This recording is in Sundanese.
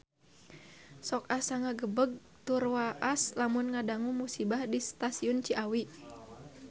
Sok asa ngagebeg tur waas lamun ngadangu musibah di Stasiun Ciawi